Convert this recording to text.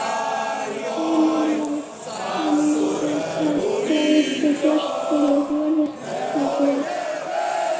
Heimir Már: Þannig að það gæti gerst fyrir vorið jafnvel?